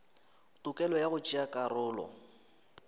tokelo ya go tšea karolo